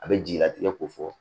A bɛ jigilatigɛ ko fɔ